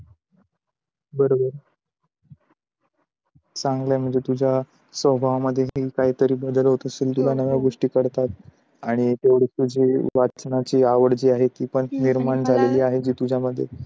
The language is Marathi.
बरं बरं चांगला आहे म्हणजे तुझ्या स्वभावामध्ये काहीतरी बदल होत असेल तुला नव्या गोष्टी कळतात, आणि तेवढीच तुझी अवचनाची आवड जी आहे ती पण